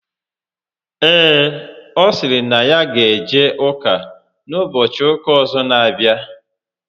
Ee, ọ sịrị na ya ga eje ụka n'ụbọchị ụka ọzọ n'abịa